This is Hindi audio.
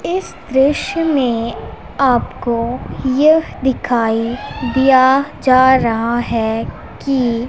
इस दृश्य में आपको यह दिखाई दिया जा रहा है कि--